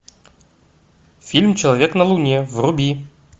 фильм человек на луне вруби